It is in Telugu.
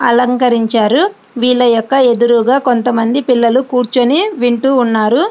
అలంకరించారు వీళ్ళ యొక్క ఎదురుగా కొంతమంది పిల్లలు కూర్చుని వింటూ ఉన్నారు.